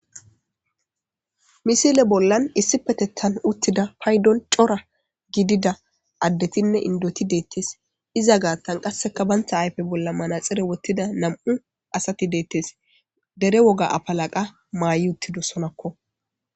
Misile bollan issi petethan uttida paydon cora gidida addetinne indoti deettes iza gaattan qasseka bantha ayfe bolla manaxire wottida nam'u asati deettes dere woga apalaqa maayi uttido sonakko.